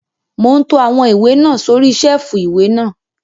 Mò ún to àwọn ìwé náà sórí sẹ́ẹ̀fù ìwé náà